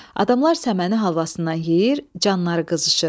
Adamlar səməni halvasından yeyir, canları qızışır.